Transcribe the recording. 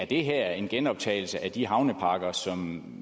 det her er en genoptagelse af de havnepakker som